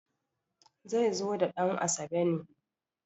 zai zo da dan`asabe ne